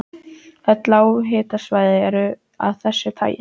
Öll lághitasvæði eru af þessu tagi.